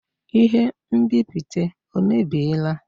Ihe nbipute ọ mebiela?